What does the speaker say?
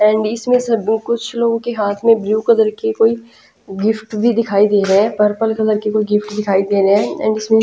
and इसमें सब कुछ लोगों के हाथ में ब्लू कलर की कोई गिफ्ट भी दिखाई दे रहे हैं पर्पल कलर के कोई गिफ्ट दिखाई दे रहे हैं एंड इसमें --